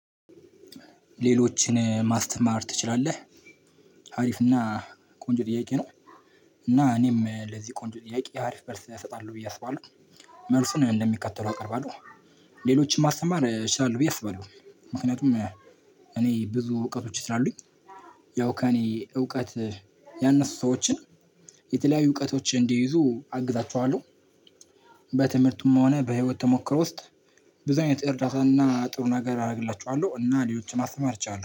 ሌሎችን ማስተማር ትችላለህ? አሪፍ እና ቆንጆ ጥያቄ ነው። እና እኔም ለዚህ ቆንጆ ጥያቄ አሪፍ መልስ እሰጣለሁ ብዬ አስባለሁ። መልሱን እንደሚከተለው አቀርባለሁ። ሌሎችን ማስተማር እችላለሁ ብዬ አስባለሁ። ምክንያቱም እኔ ብዙ እውቀቶች ስላሉኝ ያው ከእኔ እውቀት ያነሱ ሰዎችን የተለያዩ እውቀቶች እንዲይዙ አግዛቸዋለሁ። በትምህርቱም ሆነ በህይወት ተሞክሮ ውስጥ ብዙ አይነት እርዳታን እና ጥሩ ነገር አደርግላቸዋለሁ እና ሌሎችን ማስተማር እችላለሁ።